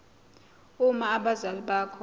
uma abazali bakho